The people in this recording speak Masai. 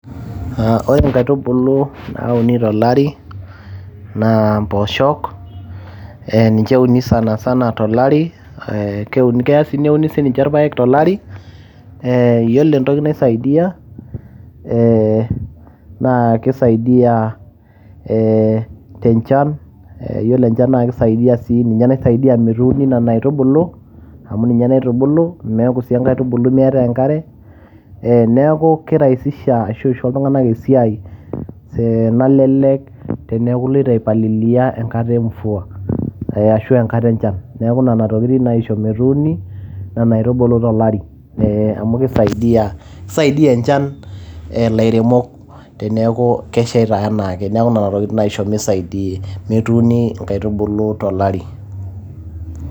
Ore nkaitubulu nauni to lari naa mpooshok, ninche euni sanasana to lari. Keya sii neuni sii ninche irpaek to lari. Yiolo entoki naisaidai eeh naa kisaidia ee enchan yiolo enchan na keisaidia ninye naisaidia metuuni nena aitubulu amu ninye naitubulu meeku sii enkaitubului meetai enkare. Niaku ki rahisisha aisho iltung`anak esiai nalelek teniaku iloito ai palilia te nkata e mvua ashu enkata enchan. Niaku nena tokitin naisho metuuni nena aitubulu to lari. Amu keisaidia enchan ilairemok teniaku keshaita enaake. Niaku nena tokiting naisho mesadi ,metuuni nkaitubulu to lari.